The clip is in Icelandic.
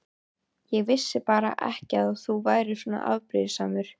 Ég vissi bara ekki að þú værir svona afbrýðisamur.